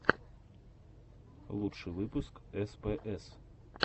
лучший выпуск спс